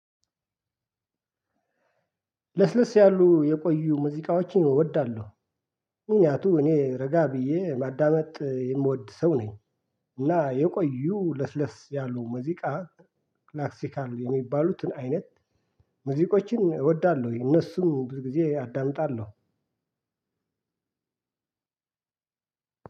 ለስለስ ያሉ የቆዩ ሙዚቃዎችን እወዳለሁ ምክንያቱም እኔ ረጋ ብዬ ማዳመጥ የምወድ ሰው ነኝ። እና የቆዩ ለስለስ ያሉ መዚቃ ክላክሲካል የሚባሉትን አይነት ሙዚቆችን እወዳለሁ ወይ እነሱን ብዙ ጊዜ አዳምጣለሁ።